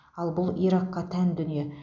ал бұл иракқа тән дүние